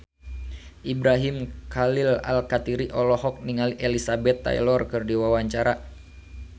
Ibrahim Khalil Alkatiri olohok ningali Elizabeth Taylor keur diwawancara